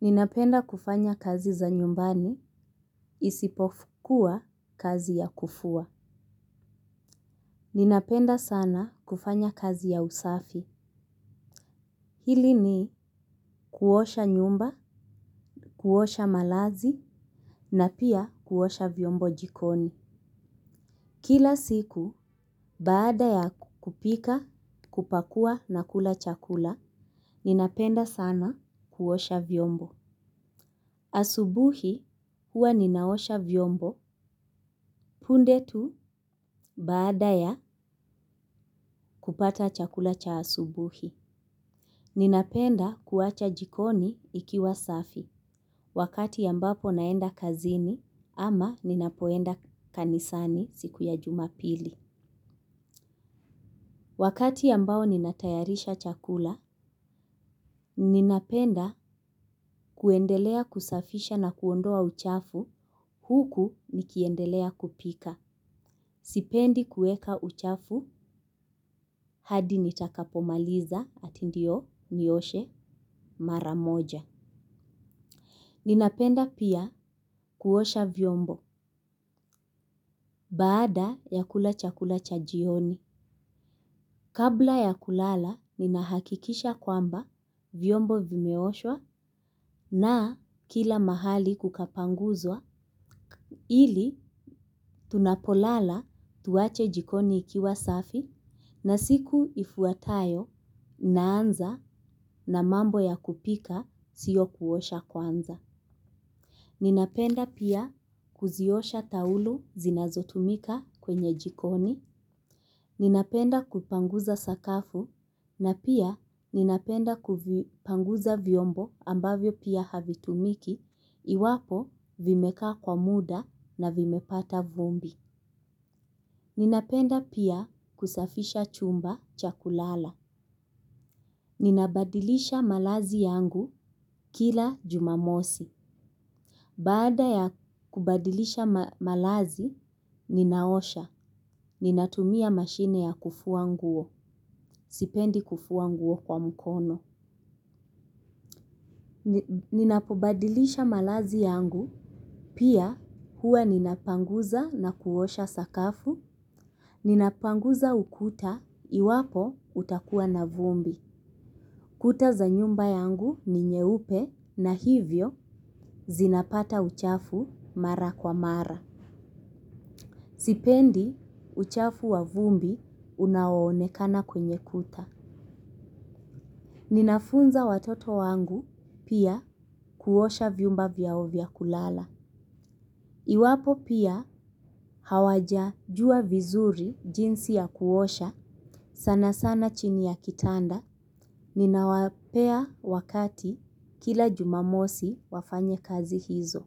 Ninapenda kufanya kazi za nyumbani isipokuwa kazi ya kufua. Ninapenda sana kufanya kazi ya usafi. Pili ni kuosha nyumba, kuosha malazi, na pia kuosha vyombo jikoni. Kila siku, baada ya kupika, kupakua na kula chakula, ninapenda sana kuosha vyombo. Asubuhi huwa ninaosha vyombo, punde tu baada ya kupata chakula cha asubuhi. Ninapenda kuacha jikoni ikiwa safi wakati ambapo naenda kazini ama ninapoenda kanisani siku ya jumapili wakati amabao ninatayarisha chakula ninapenda kuendelea kusafisha na kuondoa uchafu huku nikiendelea kupika. Sipendi kuweka uchafu, hadi nitakapomaliza ati ndio nioshe mara moja. Ninapenda pia kuosha vyombo, baada ya kula chakula cha jioni. Kabla ya kulala, ni nahakikisha kwamba vyombo vimeoshwa na kila mahali kukapanguzwa. Ili tunapolala tuwache jikoni ikiwa safi na siku ifuatayo naanza na mambo ya kupika sio kuosha kwanza. Ninapenda pia kuziosha taulu zinazotumika kwenye jikoni. Ninapenda kupanguza sakafu na pia ninapenda kupanguza vyombo ambavyo pia havitumiki iwapo vimekaa kwa muda na vimepata vumbi. Ninapenda pia kusafisha chumba cha kulala. Ninabadilisha malazi yangu kila jumamosi. Baada ya kubadilisha malazi, ninaosha. Ninatumia mashine ya kufua nguo. Sipendi kufua nguo kwa mkono. Ninapo badilisha malazi yangu. Pia huwa ninapanguza na kuosha sakafu. Ninapanguza ukuta iwapo utakua na vumbi kuta za nyumba yangu ni nyeupe na hivyo zinapata uchafu mara kwa mara. Sipendi uchafu wa vumbi unao onekana kwenye kuta. Ninafunza watoto wangubpia kuosha vyumba vyao vya kulala. Iwapo pia hawajajua vizuri jinsi ya kuosha sana sana chini ya kitanda. Ninawapea wakati kila jumamosi wafanye kazi hizo.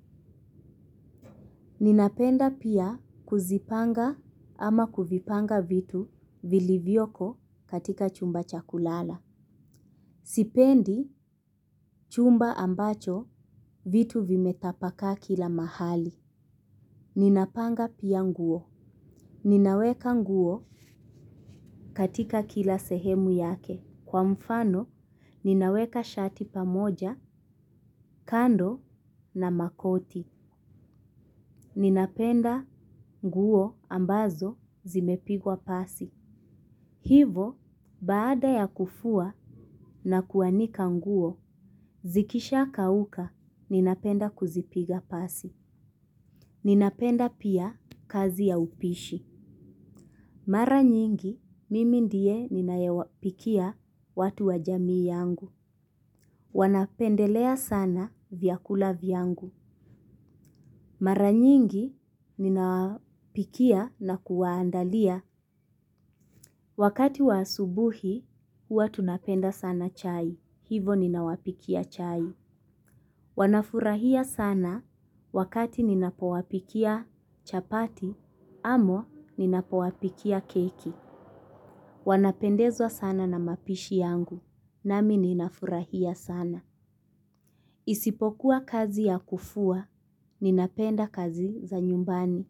Ninapenda pia kuzipanga ama kuvipanga vitu vili vyoko katika chumba cha kulala. Sipendi chumba ambacho vitu vimetapaka kila mahali. Ninapanga pia nguo. Ninaweka nguo katika kila sehemu yake. Kwa mfano, ninaweka shati pamoja, kando na makoti. Ninapenda nguo ambazo zimepigwa pasi. Hivo, baada ya kufua na kuanika nguo, zikisha kauka, ninapenda kuzipiga pasi. Ninapenda pia kazi ya upishi. Mara nyingi, mimi ndiye ninaye wapikia watu wa jamii yangu. Wanapendelea sana vyakula vyangu. Mara nyingi ninapikia na kuwaandalia. Wakati wa asubuhi, huwa tunapenda sana chai. Hivo ninawapikia chai. Wanafurahia sana wakati ninapowapikia chapati, ama ninapowapikia keki. Wanapendezwa sana na maposhi yangu. Nami ninafurahia sana. Isipokuwa kazi ya kufua, ninapenda kazi za nyumbani.